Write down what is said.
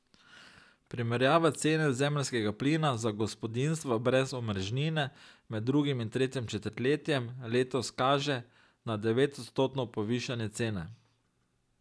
Primerjava cene zemeljskega plina za gospodinjstva brez omrežnine med drugim in tretjim četrtletjem letos kaže na devetodstotno povišanje cene.